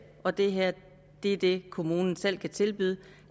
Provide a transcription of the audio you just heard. og det her er det kommunen selv kan tilbyde